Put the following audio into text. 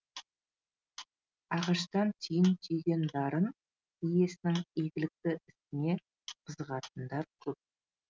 ағаштан түйін түйген дарын иесінің игілікті ісіне қызығатындар көп